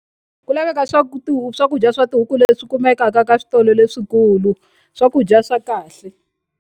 Ku laveka swa ku swakudya swa tihuku leswi kumekaka ka switolo leswikulu swakudya swa kahle.